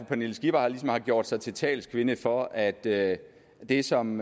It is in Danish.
pernille skipper ligesom har gjort sig til talskvinde for at det det som